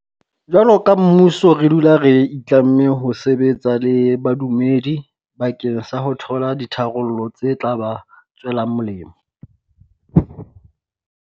Jwaloka mmuso re dula re itlamme ho sebetsa le badumedi bakeng sa ho thola ditharollo tse tla ba tswelang molemo.